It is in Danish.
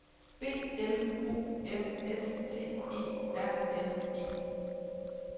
B L O M S T E R N E